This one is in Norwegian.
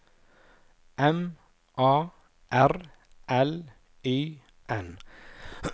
M A R L Y N